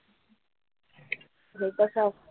हे कसं असतं